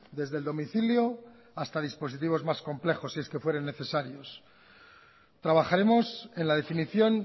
desde el domicilio hasta dispositivos más complejos si es que fueran necesarios trabajaremos en la definición